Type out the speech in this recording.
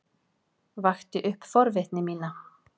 Vakti upp forvitni mína.